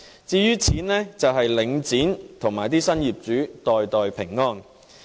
至於錢，便是由領展和新業主袋袋平安。